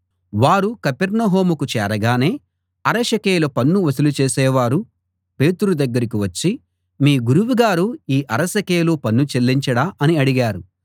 వారు కపెర్నహూముకు చేరగానే అర షెకెలు పన్ను వసూలు చేసేవారు పేతురు దగ్గరికి వచ్చి మీ గురువుగారు ఈ అర షెకెలు పన్ను చెల్లించడా అని అడిగారు